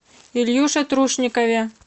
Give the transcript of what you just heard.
ильюше трушникове